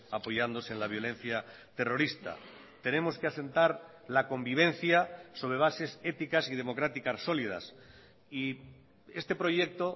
apoyándose en la violencia terrorista tenemos que asentar la convivencia sobre bases éticas y democráticas sólidas y este proyecto